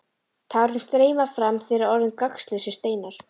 Tárin streyma fram þegar orðin eru gagnslausir steinar.